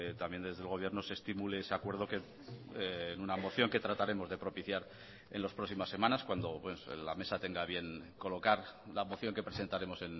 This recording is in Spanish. también desde el gobierno se estimule ese acuerdo que en una moción que trataremos de propiciar en las próximas semanas cuando la mesa tenga a bien colocar la moción que presentaremos